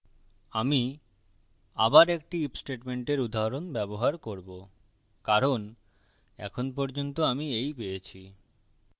আমি আবার একটি if স্টেটমেন্টের উদাহরণ ব্যবহার করবো কারণ এখন পর্যন্ত আমি এই পেয়েছি